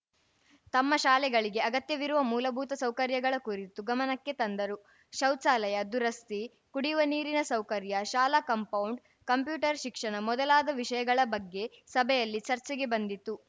ತಮ್ಮ ಶಾಲೆಗಳಿಗೆ ಅಗತ್ಯವಿರುವ ಮೂಲಭೂತ ಸೌಕರ್ಯಗಳ ಕುರಿತು ಗಮನಕ್ಕೆ ತಂದರು ಶೌಚಾಲಯ ದುರಸ್ತಿ ಕುಡಿಯುವ ನೀರಿನ ಸೌಕರ್ಯ ಶಾಲಾ ಕಾಂಪೌಂಡ್‌ ಕಂಪ್ಯೂಟರ್‌ ಶಿಕ್ಷಣ ಮೊದಲಾದ ವಿಷಯಗಳ ಬಗ್ಗೆ ಸಭೆಯಲ್ಲಿ ಚರ್ಚೆಗೆ ಬಂದಿತು